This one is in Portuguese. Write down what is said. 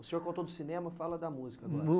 O senhor contou do cinema, fala da música agora. No